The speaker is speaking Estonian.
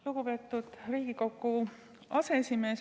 Lugupeetud Riigikogu aseesimees!